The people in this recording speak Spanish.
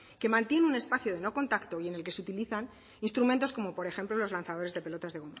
que mantiene un espacio de no contacto y en el que se utilizan instrumentos como por ejemplo los lanzadores de pelotas de